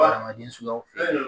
Adamaden suguyaw fɛ